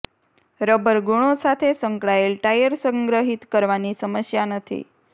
rubber ગુણો સાથે સંકળાયેલ ટાયર સંગ્રહિત કરવાની સમસ્યા નથી